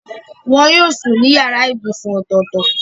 Wọn yóò sùn ní yàrá ibùsùn ọ̀tọ̀ọ̀tọ̀.